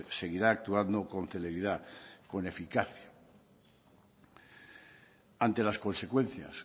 seguirá actuando con celeridad con eficacia ante las consecuencias